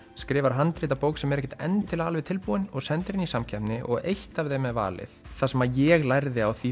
handrit að bók sem er ekki endilega alveg tilbúin og sendir inn í samkeppni og eitt af þeim er valið það sem ég lærði á því